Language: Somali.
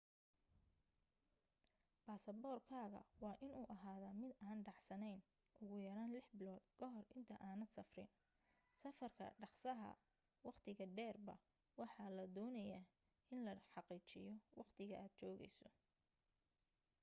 basaboor kaaga waa inu ahada mid aan dhacsanen ugu yaraan lix bilood ka hor inta aadan safrin. safarka dhaqsaha/waqtiga dheerba waxaa la doonaya in la xaqiijiyo waqtiga aad joogeyso